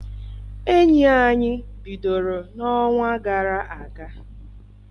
Enyi anyị bidoro n'ọnwa gara aga.